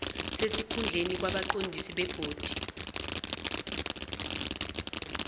sesikhundleni kwabaqondisi bebhodi